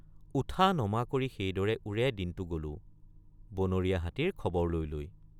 উঠানমা কৰি সেইদৰে ওৰেদিনটে৷ গলো—বনৰীয়া হাতীৰ খবৰ লৈ লৈ।